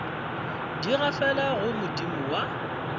di gafela go modimo wa